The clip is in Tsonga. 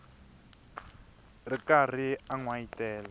ri karhi a n wayitela